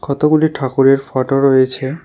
কতগুলি ঠাকুরের ফোটো রয়েছে।